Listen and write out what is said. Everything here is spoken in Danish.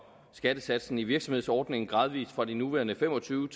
skattesatsen i virksomhedsordningen gradvis fra de nuværende fem og tyve